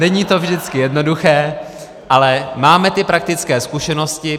Není to vždycky jednoduché, ale máme ty praktické zkušenosti.